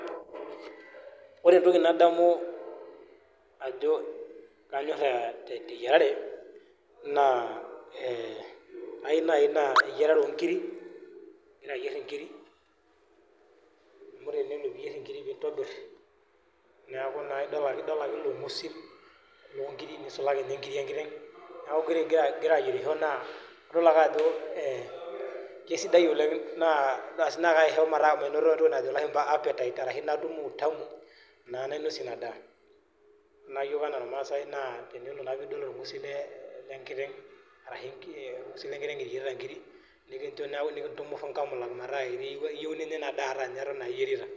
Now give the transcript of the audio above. Wore entoki nadamu ajo kanyor teyiarare, naa ayieu nai naa eyiarare onkirik, akira ayier inkirik. Amu tenelo pee iyier inkirik nintobir neeku naa idol ake ilo ngusil loonkirik, nisulaki ninye inkirik enkiteng. Neeku wore ikira ayierisho idol ake ajo kesidai oleng' naa kaisho metaa mainoto entoki najo ilashumba appetite ashu natum utamu naa nainosie inia daa. Wore naa iyiok enaa ilmaasae naa tenelo naa piidol olngusil lenkiteng arashu orngusil lenkiteng iyierita inkirik, nikincho neeku nikintumurru inkamulak meeta iyieu ninya inia daa ata ninye eton aa iyierita.